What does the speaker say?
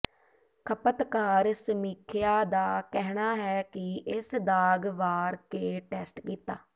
ਖਪਤਕਾਰ ਸਮੀਖਿਆ ਦਾ ਕਹਿਣਾ ਹੈ ਕਿ ਇਸ ਦਾਗ ਵਾਰ ਕੇ ਟੈਸਟ ਕੀਤਾ